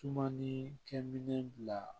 Sumani kɛminɛn bila